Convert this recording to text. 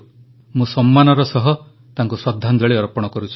ମୁଁ ସମ୍ମାନର ସହ ତାଙ୍କୁ ଶ୍ରଦ୍ଧାଞ୍ଜଳି ଅର୍ପଣ କରୁଛି